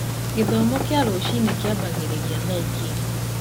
Gĩthomo kĩa rũciinĩ kĩambagĩrĩria thaa igĩrĩ